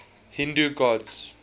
hindu gods